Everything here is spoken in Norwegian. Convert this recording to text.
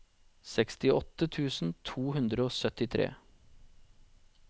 sekstiåtte tusen to hundre og syttitre